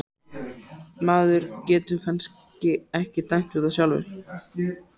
Maður getur kannski ekki dæmt um það sjálfur.